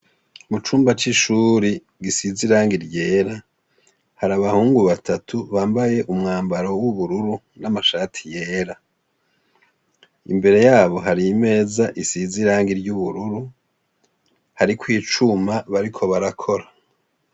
Mucumba c'ishure gisize irangi ryera, hari abahungu batatu bambaye umwambaro w'ubururu n'amashati yera, imbere yabo hari imeza isize irangi ry'ubururu hariko icuma bariko barakora.